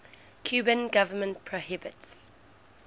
cuban government prohibits